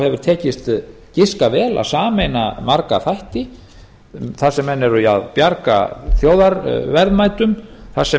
hefur tekist giska vel að sameina marga þætti þar sem menn eru að bjarga þjóðarverðmætum þar sem